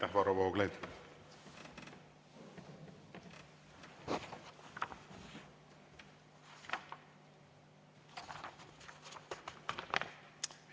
Aitäh, Varro Vooglaid!